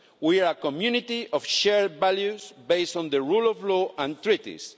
We are a community of shared values based on the rule of law and treaties.